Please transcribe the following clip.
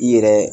I yɛrɛ